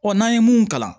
Ɔ n'an ye mun kalan